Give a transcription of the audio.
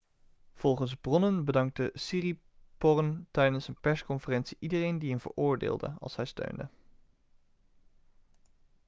volgens bronnen bedankte siriporn tijdens een persconferentie iedereen die een veroordeelde' als hij steunde